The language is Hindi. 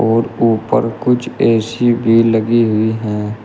और ऊपर कुछ ऐसी भी लगी हुई हैं।